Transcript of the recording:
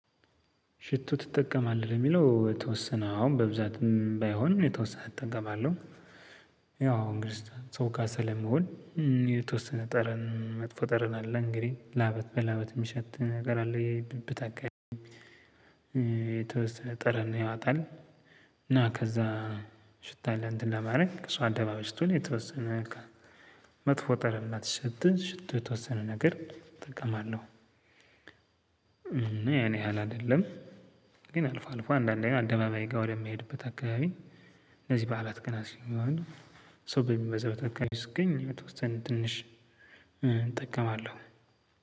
ሽቶ ትጠቀማለህ ለሚለው የተወሰነ አሁን በብዛትም ባይሆንም የተወሰነ እጠቀማለሁ። ያው እንግዲህ ሰው ጋር ስለምውል። የተወሰነ ጠረን መጥፎ ጠረን አለ እንግዲህ ላበት በላበት የሚሸት ነገር አለ ብብት አካባቢ። የተወሰነ ጥረን ያወጣል። እና ከዛ ሽታ ለ እንተን ለማድረግ ሰው አደባባይ ስትውል የተወሰነ መጥፎ ጠረን እንዳትሸት ሽቶ የተወሰነ ነገር እጠቀማለሁ። እና ያን ያህል አይደለም። ግን አልፎ አልፎ አንዳንዴ አደባባይ ጋር ወደምሄድበት አካባቢ እነዚህ በዓላት ቀናት ሲሆን ሰው በሚበዛበት አካባቢ ስገኝ የተወሰነ ትንሽ እጠቀማለሁ።